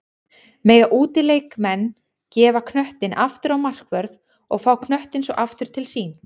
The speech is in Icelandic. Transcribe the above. Mega útileikmenn gefa knöttinn aftur á markvörð og fá knöttinn svo aftur til sín?